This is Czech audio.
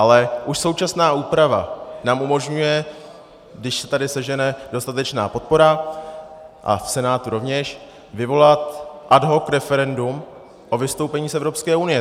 Ale už současná úprava nám umožňuje, když se tady sežene dostatečná podpora a v Senátu rovněž, vyvolat ad hoc referendum o vystoupení z Evropské unie.